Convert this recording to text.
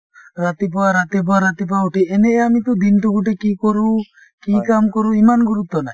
ৰাতিপুৱা ৰাতিপুৱা ৰাতিপুৱা উঠি, এনেয়ে আমি টো দিনটো গোটেই কি কৰো , কি কাম কৰো ইমান গুৰুত্ব নাই।